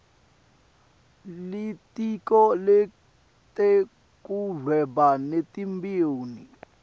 litiko letekuhweba netimboni